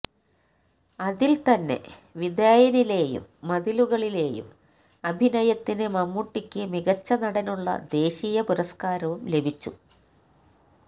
അതില് തന്നെ വിധേയനിലെയും മതിലുകളിലെയും അഭിനയത്തിന് മമ്മൂട്ടിയ്ക്ക് മികച്ച നടനുള്ള ദേശീയ പുരസ്കാരവും ലഭിച്ചു